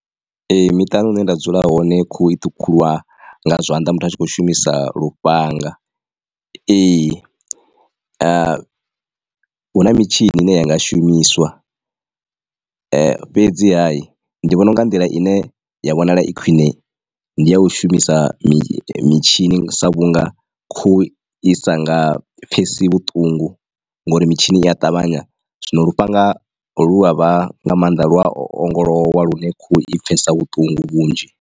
Ee miṱani hune nda dzula hone khuhu i ṱhukhulwa nga zwanḓa muthu a tshi kho shumisa lufhanga. Ee huna mitshini ine ya nga shumiswa ee fhedzi ha hi ndi vhona u nga nḓila ine ya vhonala i khwine ndi ya u shumisa mitshini sa vhunga khuhu i sa nga pfhesi vhuṱungu nga uri mitshini i a ṱavhanya zwino lufhanga lu avha nga maanḓa lu a ongolowa lune khuhu i pfesa vhuṱungu vhunzhi.